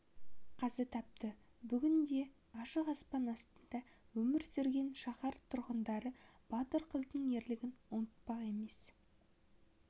қаза тапты бүгінде ашық аспан астында өмір сүрген шаһар тұрғындары батыр қыздың ерлігін ұмытпақ емес